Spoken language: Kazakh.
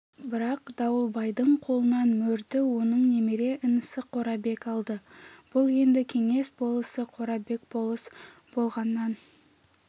бірақ дауылбайдың қолынан мөрді оның немере інісі қорабек алды бұл енді кеңес болысы қорабек болыс болғаннан